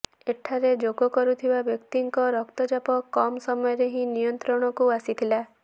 ଏଠାରେ ଯୋଗ କରୁଥିବା ବ୍ୟକ୍ତିଙ୍କ ରକ୍ତଚାପ କମ୍ ସମୟରେ ହିଁ ନିୟନ୍ତ୍ରଣକୁ ଆସିଥିଲା